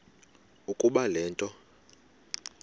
ukuba le nto